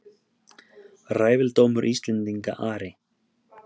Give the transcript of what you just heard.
Ræfildómur Íslendinga Ari!